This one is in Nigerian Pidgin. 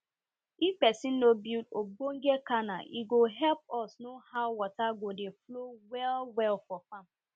if pesin no build ogbonge canal e go help us know how water go dey flow well well for farm